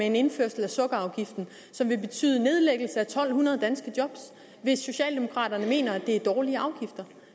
en indførelse af sukkerafgiften som vil betyde nedlæggelse af to hundrede danske job hvis socialdemokraterne mener at det er dårlige afgifter